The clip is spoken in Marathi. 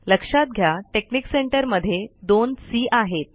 लक्षात घ्या टेकनिक सेंटर मध्ये दोन सी आहेत